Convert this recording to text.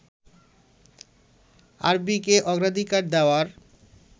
আরবীকে অগ্রাধিকার দেওয়ার